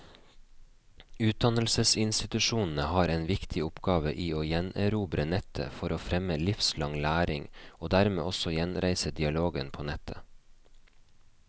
Utdannelsesinstitusjonene har en viktig oppgave i å gjenerobre nettet for å fremme livslang læring, og dermed også gjenreise dialogen på nettet.